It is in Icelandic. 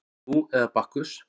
Nú eða Bakkus